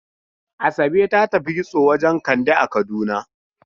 Asabe ta tafi kitso wajen Kande a Kaduna.